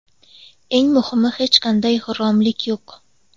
Eng muhimi, hech qanday g‘irromlik yo‘q.